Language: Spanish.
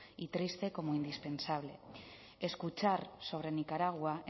y triste como indispensable escuchar sobre nicaragua